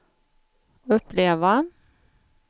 uppleva